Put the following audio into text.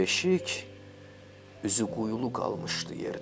Beşik üzüquyulu qalmışdı yerdə.